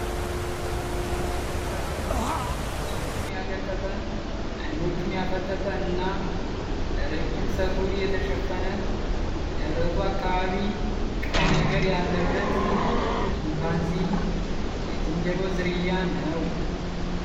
አፉን የከፈተ ፣ ጥርሶቹን ያገጠጠ፣ አይኖቹን ያፈጠጠ እና በረዥም ፀጉር የተሸፈነ ደረቱ አካባቢ ቀይ ነገር ያለበት ችንባዚ የዝንጀሮ ዝርያ ነዉ።